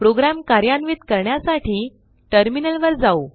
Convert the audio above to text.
program कार्यान्वित करण्यासाठी टर्मिनलवर जाऊ